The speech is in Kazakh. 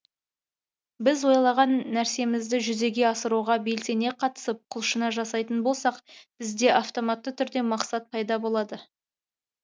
біз ойлаған нәрсемізді жүзеге асыруға белсене қатысып құлшына жасайтын болсақ бізде автоматты түрде мақсат пайда болады